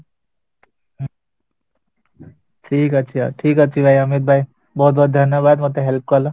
ଠିକ ଅଛି ଠିକ ଅଛି ଭାଇ ଅମିତ ଭାଇ ବହୁତ ବହୁତ ଧନୀୟ ବଡ଼ ମତେ help କଲ